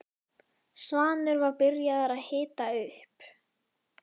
Svanur var byrjaður að hita upp.